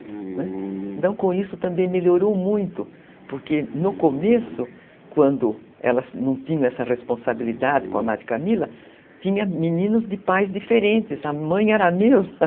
Né, então, com isso também melhorou muito, porque no começo, quando elas não tinham essa responsabilidade com a Madre Camila, tinha meninos de pais diferentes, a mãe era a mesma.